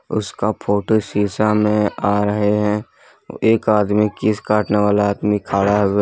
और उसका फोटो शीशा में आ रहे हैं एक आदमी केश काटने वाला आदमी खड़ा --